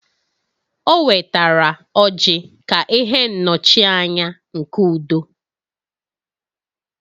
O wetara ọrji ka ihe nnọchianya nke udo